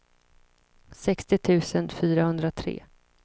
sextio tusen fyrahundratre